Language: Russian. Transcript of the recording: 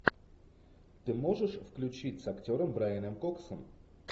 ты можешь включить с актером брайаном коксом